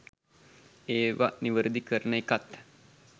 ඒව නිවැරදි කරන එකත්